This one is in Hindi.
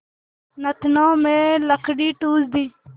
नथनों में लकड़ी ठूँस दी